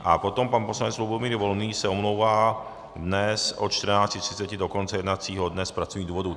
A potom pan poslanec Lubomír Volný se omlouvá dnes od 14.30 do konce jednacího dne z pracovních důvodů.